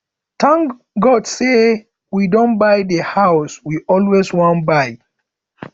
thank god say we don buy the house we always wan buy